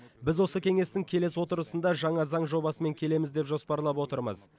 біз осы кеңестің келесі отырысында жаңа заң жобасымен келеміз деп жоспарлап отырмыз